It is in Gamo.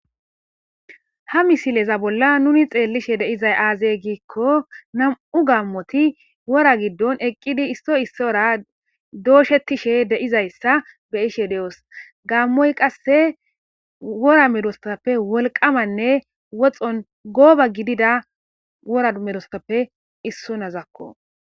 ha misileza bolla nuni xeellishe deizay aazey giikko nam7u gammoti wora giddon eqqidi isso isso ora dooshetishe deizayssa beyishe de7os gammoy qasse wora merostappe wolqamanne woxxon gooba gidida woramerostappe issonazakko